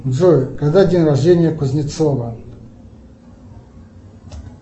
джой когда день рождения кузнецова